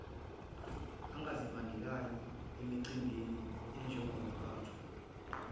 angazibandakanya emicimbini enjengokuphathwa